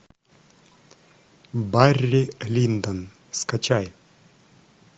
барри линдон скачай